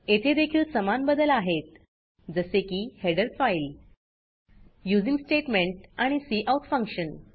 येथे देखील समान बदल आहेत जसे की हेडर फाइल यूझिंग स्टेटमेंट आणि काउट फंक्शन